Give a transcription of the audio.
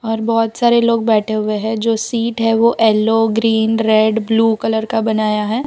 और बहोत सारे लोग बैठे हुए है जो सीट है वो yellow green red blue colour का बनाया है।